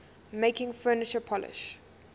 making furniture polish